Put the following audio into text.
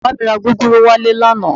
Bàbá mi ra gúgúrú wálé lánàá